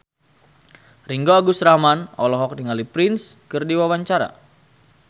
Ringgo Agus Rahman olohok ningali Prince keur diwawancara